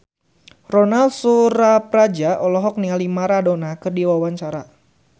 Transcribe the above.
Ronal Surapradja olohok ningali Maradona keur diwawancara